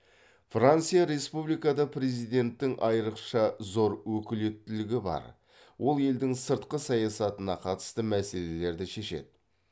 франция республикада президенттің айрықша зор өкілеттілігі бар ол елдің сыртқы саясатына қатысты мәселерді шешеді